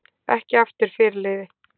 Ekki aftur fyrirliði